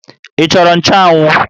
Ị chọrọ nchanwụ?